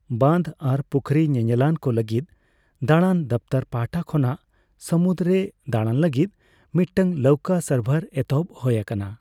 ᱵᱟᱸᱫᱷ ᱟᱨ ᱯᱩᱠᱷᱚᱨᱤ ᱧᱮᱧᱮᱞᱟᱱ ᱠᱚ ᱞᱟᱹᱜᱤᱫ ᱫᱟᱲᱟᱱ ᱫᱚᱯᱷᱛᱚᱨ ᱯᱟᱦᱟᱴᱟ ᱠᱷᱚᱱᱟᱜ ᱥᱟᱢᱩᱫ ᱨᱮ ᱫᱟᱲᱟᱱ ᱞᱟᱹᱜᱤᱫ ᱢᱤᱫᱴᱟᱝ ᱞᱟᱹᱣᱠᱟᱹ ᱥᱟᱨᱵᱷᱟᱨ ᱮᱛᱚᱦᱚᱵ ᱦᱳᱭ ᱟᱠᱟᱱᱟ ᱾